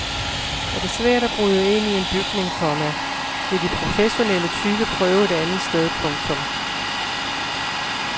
Er det svært at bryde ind i en bygning, komma vil de professionelle tyve prøve et andet sted. punktum